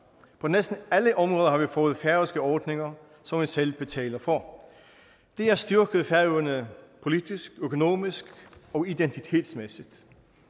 på næsten alle områder har vi fået færøske ordninger som vi selv betaler for det har styrket færøerne politisk økonomisk og identitetsmæssigt